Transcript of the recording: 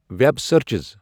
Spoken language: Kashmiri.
Web searches.